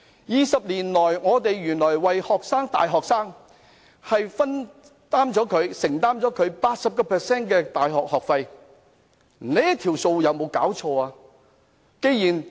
二十年來，原來 UGC 為大學生承擔了 80% 的大學學費，真是有沒有"搞錯"？